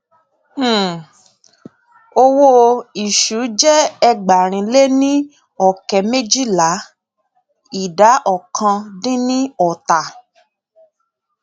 um owó ìṣú jẹ ẹgbàárin lé ní ọkẹ méjìlá ìdá ọkan dín ní ọta